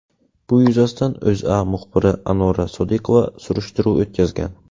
Bu yuzasidan O‘zA muxbiri Anora Sodiqova surishtiruv o‘tkazgan .